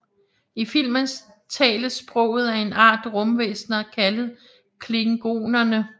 I filmen tales sproget af en art rumvæsener kaldet klingonere